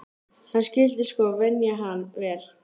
Hann skyldi sko venja hann vel.